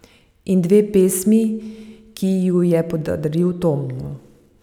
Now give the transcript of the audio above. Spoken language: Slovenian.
In dve pesmi, ki ji ju je podaril Tom.